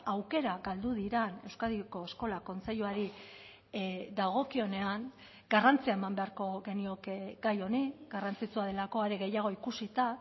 aukera galdu diren euskadiko eskola kontseiluari dagokionean garrantzia eman beharko genioke gai honi garrantzitsua delako are gehiago ikusita